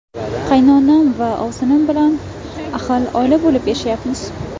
Qaynonam va ovsinim bilan ahil oila bo‘lib yashayapmiz.